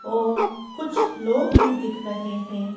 और कुछ लोग भी दिख रहे हैं।